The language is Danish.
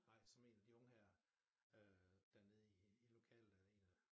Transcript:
Nej som en af de unge her øh dernede i lokal øh en af